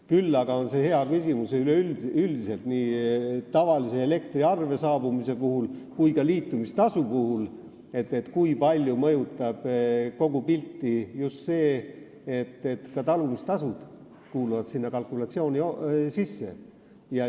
Küll aga on hea küsimus – üleüldiselt nii tavalise elektriarve saabumise puhul kui ka liitumistasu puhul –, kui palju mõjutab kogu pilti just see, et ka talumistasud kuuluvad kalkulatsiooni sisse.